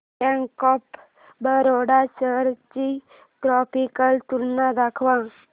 bank of Baroda shares ची graphical तुलना दाखव